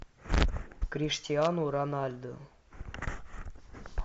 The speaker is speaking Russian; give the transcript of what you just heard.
криштиану роналдо